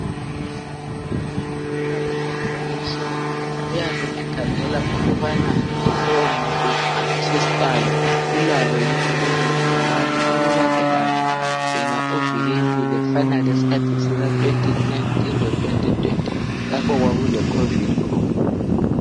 Nxa umongikazi egqoke "so" uyabe ekhangela ukubana lowo muntu amuthesitayo ulalo yini lelogcikwane. Uma elalo yena uvikelile. Kufana lesikhathi sika 2019 lo 2020 lapho okwkule "Covid" khona.